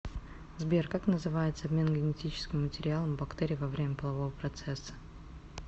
сбер как называется обмен генетическим материалом у бактерий во время полового процесса